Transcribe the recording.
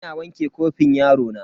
Ina wanke kofin yarona.